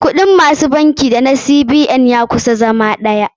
Kuɗin ma su canji da na CBN ya kusan zama ɗaya.